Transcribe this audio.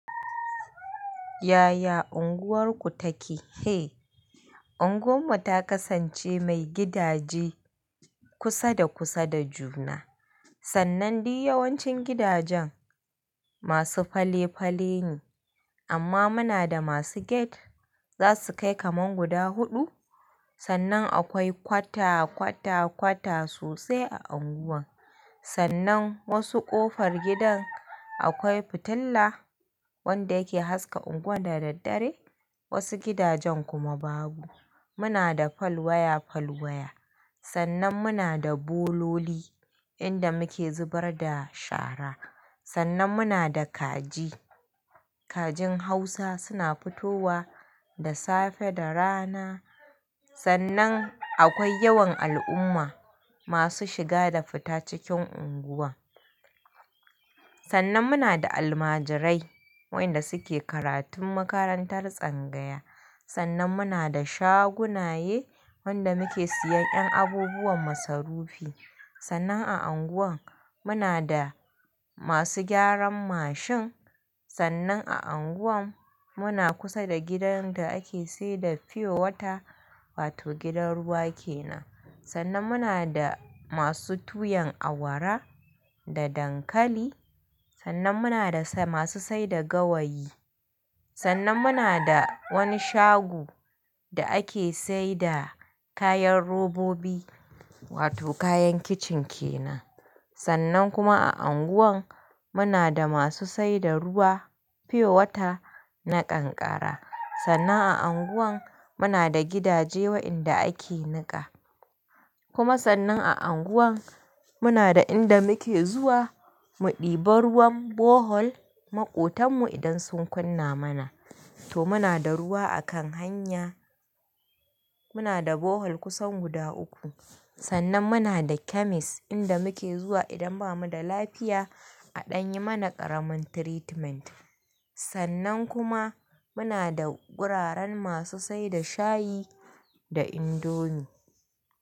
Yaya unguwarku take? Hei, unguwarmu ta kasance mai gidaje kusa da kusa da juna. Sannan duk yawancin gidajen masu fale-fale ne amma muna da masu gate za su kai kaman guda huɗu. Sannan akwai kwata, kwata, kwata sosai a unguwar. Sannan wasu ƙofar gidan akwai fitila wanda yake haska unguwar da daddare, wasu gidajen kuma babu. Muna da fal waya, fal waya. Sannan muna da bololi inda muke zubar da shara. Sannan muna da kaji. Kajin hausa suna fitowa da safe da rana. Sannan akwai yawan al'umma masu shiga da fita cikin unguwa. Sannan muna da almajirai wanda suke karatun makarantar tsangaya. Sannan muna da shagunaye wanda muke siyan ƴan abubuwan masarufi. Sannan a anguwan muna da masu gyaran mashin. Sannan a anguwan muna kusa da gidan da ake saida fiyo wata wato gidan ruwa ke nan. Sannan muna da masu tuyan awara da dankali. Sannan muna da masu saida gawayi. Sannan muna da wani shago da ake saida kayan robobi wato kayan kicin ke nan. Sannan kuma a unguwan muna da masu saida ruwa, fiyo wata na kankara. Sannan a unguwan muna da gidaje wanda ake niƙa. Kuma sannan a unguwan muna da inda muke zuwa mu ɗiba ruwan bohol maƙotanmu idan sun kunna mana. To muna da ruwa a kan hanya. Muna da bohol kusan guda uku. Sannan muna da chemist inda muke zuwa idan bamu da lafiya aɗanyi mana ƙaramin treatment. Sannan kuma muna da wuraren masu saida shayi da indomi.